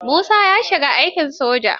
Musa ya shiga aikin soja.